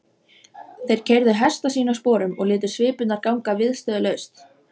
Þeir keyrðu hesta sína sporum og létu svipurnar ganga viðstöðulaust.